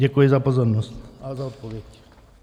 Děkuji za pozornost a za odpověď.